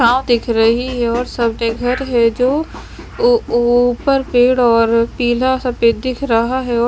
दिख रही है और सामने घर है जो वो ऊपर पेड़ और पीला सफ़ेद दिख रहा है और--